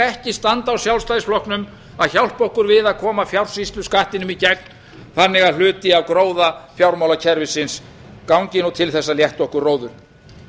ekki standa á sjálfstæðisflokknum að hjálpa okkur við að koma fjársýsluskattinum í gegn þannig að hluti af gróða fjármálakerfisins gangi nú til þess að létta okkur róður